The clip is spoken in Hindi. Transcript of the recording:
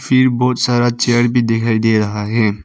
फिर बहुत सारा चेयर भी दिखाई दे रहा है।